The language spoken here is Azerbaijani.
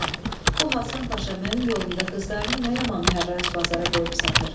Balalalam, bu Həsən Paşa mənim yolumda qızlarını nə yaman hərrac bazara qoyub satır.